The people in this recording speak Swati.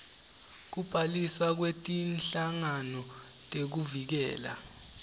kubhaliswa kwetinhlangano tekuvikela